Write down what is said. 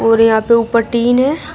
और यहां पे ऊपर टीन है।